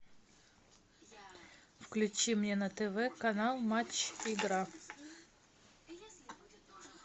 включи мне на тв канал матч игра